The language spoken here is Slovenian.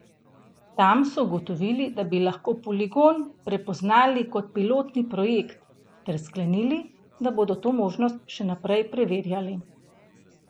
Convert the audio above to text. Tam so ugotovili, da bi lahko Poligon prepoznali kot pilotni projekt, ter sklenili, da bodo to možnost še naprej preverjali.